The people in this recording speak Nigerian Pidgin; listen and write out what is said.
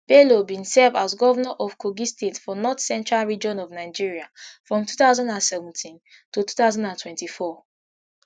bello bin serve as govnor of kogi state for north central region of nigeria from two thousand and sixteen to two thousand and twenty-four